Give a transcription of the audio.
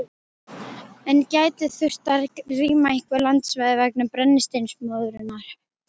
En gæti þurft að rýma einhver landsvæði vegna brennisteinsmóðunnar?